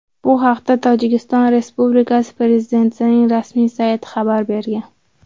Bu haqda Tojikiston respublikasi prezidentining rasmiy sayti xabar bergan .